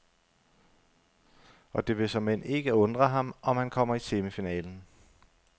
Og det vil såmænd ikke undre ham, om han kommer i semifinalen.